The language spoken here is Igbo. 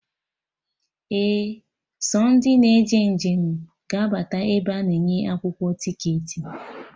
Ee, sọ ndị na eje njem ga abata ebe a na-enye akwụkwọ ticketị